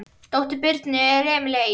Dóttir Birnu er Emelía Ýr.